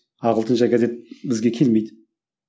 ағылшынша газет бізге келмейді